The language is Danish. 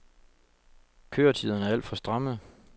Køretiderne er alt for stramme.